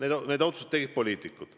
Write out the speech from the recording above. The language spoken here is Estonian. Aga need otsused tegid poliitikud.